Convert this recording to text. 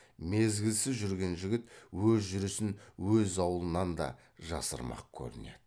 мезгілсіз жүрген жігіт өз жүрісін өз аулынан да жасырмақ көрінеді